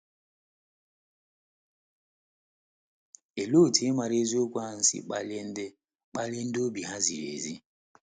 Olee otú ịmara eziokwu ahụ si akpali ndị akpali ndị obi ha ziri ezi?